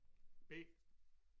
B